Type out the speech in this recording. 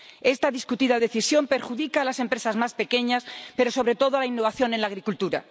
Esta discutida decisión perjudica a las empresas más pequeñas, pero, sobre todo, a la innovación en la agricultura.